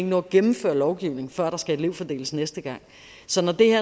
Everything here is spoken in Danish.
nå at gennemføre lovgivning før der skal elevfordeles næste gang så når det her